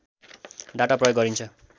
data प्रयोग गरिन्छ